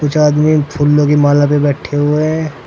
में फूलो के माला पे बैठे हुए है।